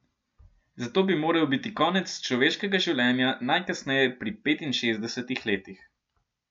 Zato bi moral biti konec človeškega življenja najkasneje pri petinšestdesetih letih.